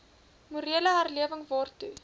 morele herlewing waartoe